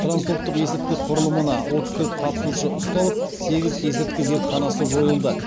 трансұлттық есірткі құрылымына отыз төрт қатысушы ұсталып сегіз есірткі зертханасы жойылды